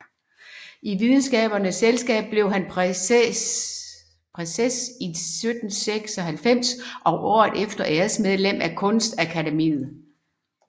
I Videnskabernes Selskab blev han præses 1776 og året efter æresmedlem af Kunstakademiet